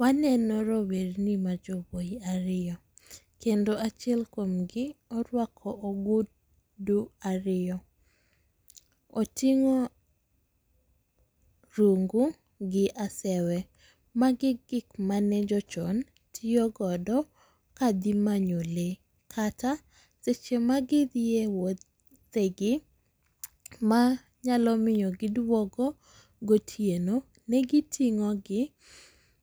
Waneno rowerni ma jowuoyi ariyo kendo achiel kuom gi orwako ogudu ariyo. Otingo rungu gi asewe. Magi gik mane jo chon tiyo go ka dhi manyo lee kata seche ma gi dhie wuoth, wuodhe gi ma nyalo miyo gi duogo gotieno, ne gi tingo gi